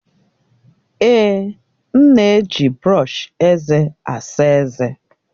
Èè, m na-eji brọọshi eze asa eze.